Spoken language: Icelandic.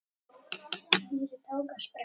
Týri tók á sprett.